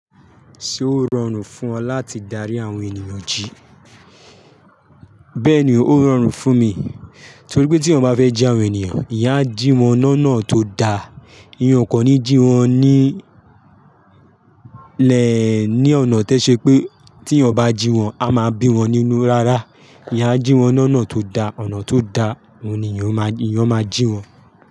Ṣé ó rọrùn fún ọ láti darí àwọn ènìyàn jí? Bẹ́ẹ̀ ni, ó rọrùn fún mi. Torí pé tí ọmọ bá fẹ́ jí àwọn ènìyàn, èyàn á jí wọn l'ọnà tó da. Èyàn ó kò ní jí wọn ní ní ọ̀nà tó ṣe pé tí èyàn bá jí wọn, a máa bí wọn nínu rárá. Èyàn á jí wọn l'ọnà tó da, ọ̀nà tó da, òun ni èyàn máa jí wọn.